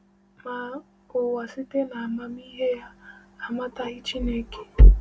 Ma, “ụwa site n’amamihe ya amataghị Chineke.”